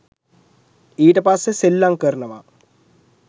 ඊට පස්සෙ සෙල්ලංකරනව